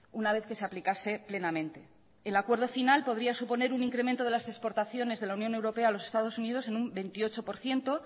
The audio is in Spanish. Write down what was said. una vez que se aplicase plenamente el acuerdo final podría suponer un incremento de las exportaciones de la unión europea a los estados unidos en un veintiocho por ciento